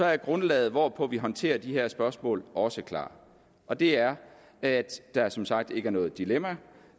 er grundlaget hvorpå vi håndterer de her spørgsmål også klart og det er at der som sagt ikke er noget dilemma